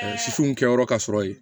Sisiw kɛyɔrɔ ka sɔrɔ ye